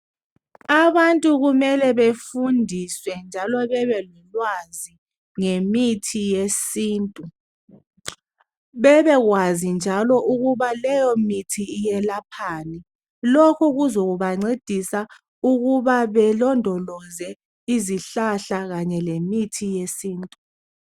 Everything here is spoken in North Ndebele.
Abantu kumele befundiswe njalo bebe lolwazi ngemithi yesintu. Bebekwazi njalo ukuba leyomithi iyelaphani. Lokhu kuzabancedisa ukuba balondoloze izihlahla kanye lemithi yesintu.